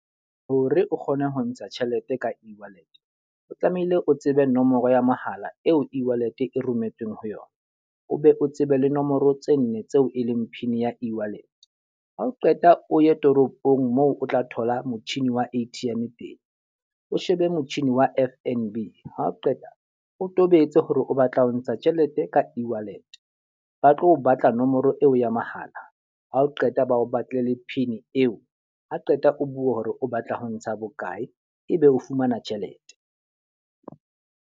Hore o kgone ho ntsha tjhelete ka e-wallet, o tlamehile o tsebe nomoro ya mohala eo e-wallet e rometsweng ho yona. O be o tsebe le nomoro tse nne tseo e leng pin ya e-wallet. Ha o qeta o ye toropong moo o tla thola motjhini wa A_T_M teng, o shebe motjhini wa F_N_B. Ha o qeta o tobetse hore o batla ho ntsha tjhelete ka e-wallet. Ba tlo batla nomoro eo ya mahala. Ha o qeta bao batlele pin eo. Ha qeta o bue hore o batla ho ntsha bokae, e be o fumana tjhelete.